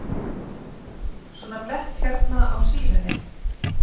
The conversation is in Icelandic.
Svona blett hérna á síðunni.